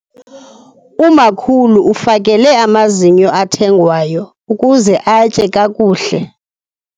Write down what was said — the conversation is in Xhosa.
Umakhulu ufakele amazinyo athengwayo ukuze atye kakuhle.